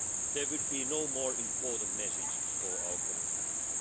There would be no more important message for our common future.